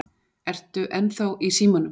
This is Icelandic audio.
ERTU ENNÞÁ Í SÍMANUM?